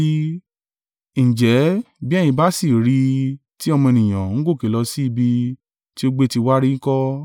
Ǹjẹ́, bí ẹ̀yin bá sì rí i tí Ọmọ Ènìyàn ń gòkè lọ sí ibi tí ó gbé ti wà rí ń kọ́?